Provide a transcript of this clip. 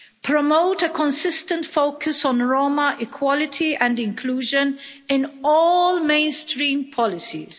promote a consistent focus on Roma equality and inclusion in all mainstream policies